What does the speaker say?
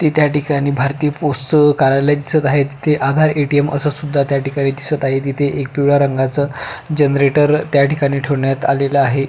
ती ठिकाणी भारतीय पोस्टच कार्यालय दिसत आहे तिथे आधार ए.टी.एम अस सुद्धा त्या ठिकाणी दिसत आहे तिथ एक पिवळ्या रंगाच जनरेटर त्या ठिकाणी ठेवण्यात आलेल आहे.